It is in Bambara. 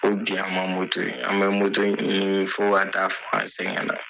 O toyi an bɛ in ɲini fɔ ka taa fɔ an sɛgɛnna.